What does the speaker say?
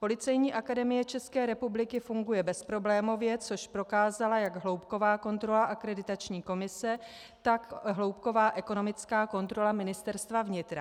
Policejní akademie České republiky funguje bezproblémově, což prokázala jak hloubková kontrola Akreditační komise, tak hloubková ekonomická kontrola Ministerstva vnitra.